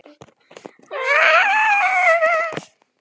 Það er víst svona skemmtikvöld einu sinni á hverjum vetri.